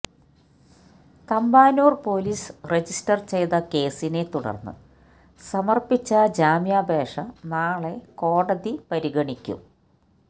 Thampanoor police register ചെയ്ത കേസിനെ തുടര്ന്നു സമര്പ്പിച്ച ജാമ്യാപേക്ഷ നാളെ കോടതി പരിഗണിക്കും